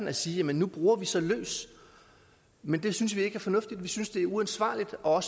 at sige at nu bruger vi så løs men det synes vi ikke er fornuftigt vi synes det er uforsvarligt og